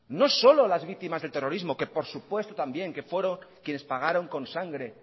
no solo las víctimas del terrorismo que por supuesto también que fueron quienes pagaron con sangre